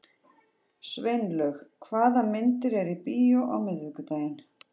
Sveinlaug, hvaða myndir eru í bíó á miðvikudaginn?